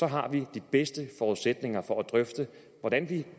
har vi de bedste forudsætninger for at drøfte hvordan vi